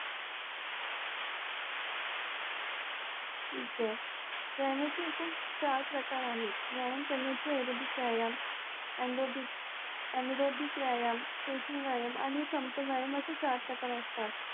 ठीक हे व्यायामाचे एकूण व्यायामाचे एकूण सात प्रकार आहेत व्यायाम करण्याचे याधिक व्यायाम आंरोधिक व्यायाम स्ट्रॅचिंग व्यायाम आणि व्यायाम असे असे चार प्रकार असतात